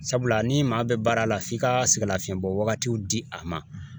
Sabula ni maa bɛ baara la f'i ka sɛgɛnlafiyɛnbɔwagatiw di a ma